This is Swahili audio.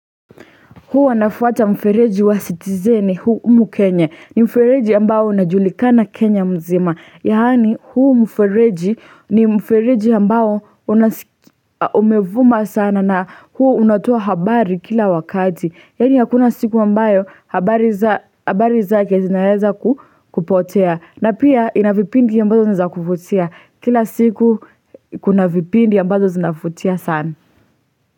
Huwa nafuata mfereji wa citizeni huu umu kenya ni mfereji ambao unajulikana kenya mzima yaani huu mfereji ni mfereji ambao unas umevuma sana na huu unatoa habari kila wakati yaani hakuna siku ambayo habari za habari zake zinaeza ku kupotea na pia ina vipindi ambazo ni za kuvutia kila siku kuna vipindi ambazo zinafutia sana.